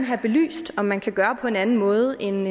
have belyst om man kan gøre det på en anden måde end